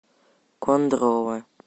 кондрово